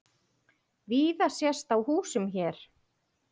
Víða sést á húsum hér.